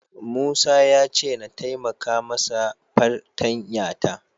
Musa ya ce na taimaka masa fartanya ta.